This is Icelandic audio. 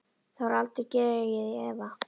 Það var aldrei dregið í efa.